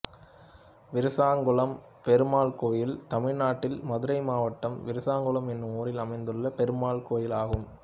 விருசங்குளம் பெருமாள் கோயில் தமிழ்நாட்டில் மதுரை மாவட்டம் விருசங்குளம் என்னும் ஊரில் அமைந்துள்ள பெருமாள் கோயிலாகும்